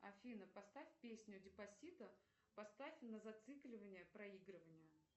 афина поставь песню деспасито поставь на зацикливание проигрывание